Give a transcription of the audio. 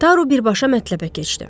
Taru birbaşa mətləbə keçdi.